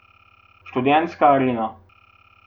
Študentska arena.